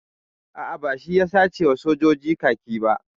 A'a, ba shi ya sace wa soja kaki ba.